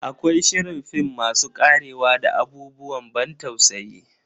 Akwai shirin film masu karewa da abubuwan ban tausayi.